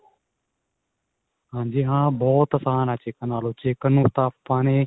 ਹਾਂਜੀ ਹਾਂ ਬਹੁਤ ਆਸਾਨ ਏ chicken ਨਾਲੋਂ chicken ਨੂੰ ਤਾਂ ਆਪਾਂ ਨੇ